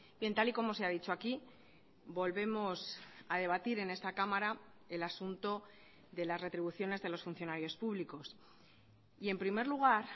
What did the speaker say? bien tal y como se ha dicho aquí volvemos a debatir en esta cámara el asunto de las retribuciones de los funcionarios públicos y en primer lugar